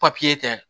Papiye tɛ